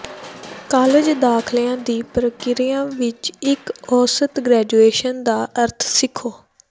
college ਦਾਖਲਿਆਂ ਦੀ ਪ੍ਰਕਿਰਿਆ ਵਿੱਚ ਇੱਕ ਔਸਤ ਗ੍ਰੈਜੂਏਸ਼ਨ ਦਾ ਅਰਥ ਸਿੱਖੋ